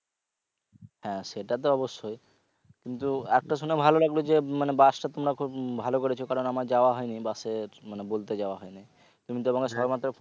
হ্যাঁ সেটা তো অব্যশই কিন্তু একটা শুনে ভালো লাগলো যে bus টা তোমরা খুব ভালো করেছো কারণ আমার যাওয়া হয়নি bus এর মানে বলতে যাওয়া হয়নি তুমি তো